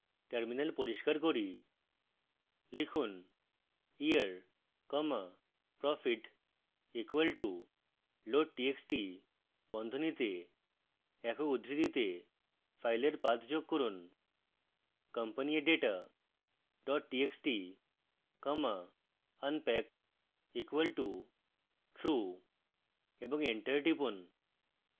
terminal পরিষ্কার করি